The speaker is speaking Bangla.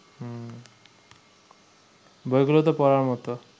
বইগুলো তো পড়ার মতো